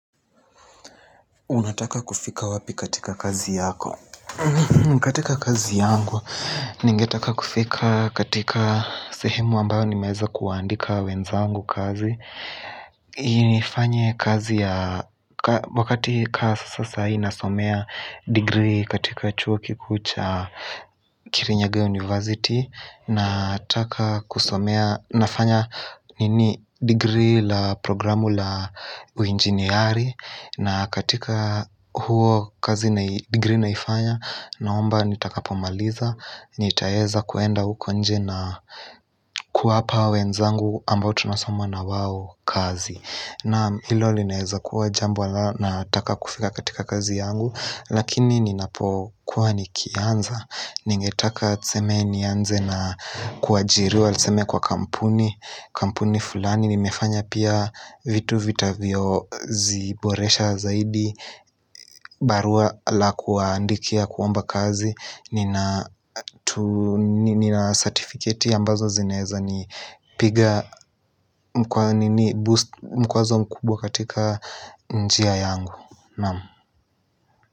Unataka kufika wapi katika kazi yako? Katika kazi yangu, ningetaka kufika katika sehemu ambayo nimeweza kuandika wenzangu kazi. Nifanye kazi wakati kama sasa ninasomea degree katika chuo kikuu cha kirinyaga university. Nataka kusomea nafanya degree la programu la uinginiari na katika huo kazi na degree naifanya naomba nitakapomaliza nitaweza kuenda huko nje na kuwapa wenzangu ambao tunasomwa na wao kazi naam hilo linaweza kuwa jambo ninalotaka kufikia katika kazi yangu Lakini ninapokuwa nikianza Ningetaka tuseme nianze na kuajiriwa Tuseme kwa kampuni Kampuni fulani nimefanya pia vitu vitakavyo Ziboresha zaidi barua la kuandikia kuomba kazi Nina certificate ya ambazo zineweza Nipiga mkwazo mkubwa katika njia yangu Namu.